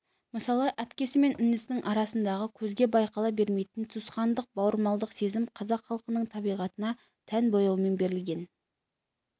мысалы әпкесі мен інісінің арасындағы көзге байқала бермейтін туысқандық бауырмалдық сезім қазақ халқының табиғатына тән бояумен берілген